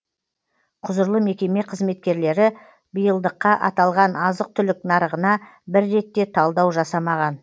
құзырлы мекеме қызметкерлері биылдыққа аталған азық түлік нарығына бір рет те талдау жасамаған